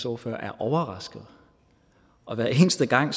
ordfører er overrasket og hver eneste gang